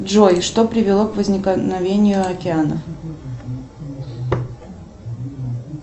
джой что привело к возникновению океана